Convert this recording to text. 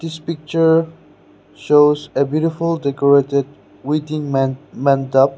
picture shows a beautiful decorated waiting man meant up.